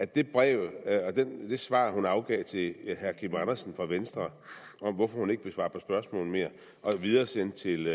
det brev det svar hun afgav til herre kim andersen fra venstre om hvorfor hun ikke vil svare på spørgsmål mere og videresendte til